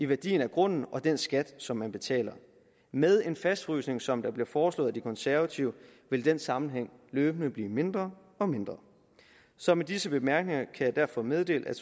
værdien af grunden og den skat som man betaler med en fastfrysning som der bliver foreslået af de konservative vil den sammenhæng løbende blive mindre og mindre så med disse bemærkninger kan jeg derfor meddele at